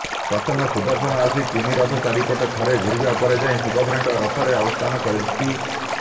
ପ୍ରଥମେ ସୁଦର୍ଶନ ଆସି ତିନିରଥ ଚାରିପଟେ ଥରେ ଘୂରିବା ପରେ ଯାଇ ସୁଭଦ୍ରାଙ୍କ ରଥରେ ଅବସ୍ଥାନ କରନ୍ତି